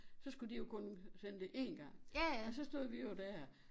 Så skulle de jo kun sende det én gang og så stod vi jo dér